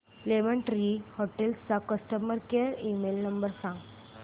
lemon Tree Hotels चा customer care email number सांगा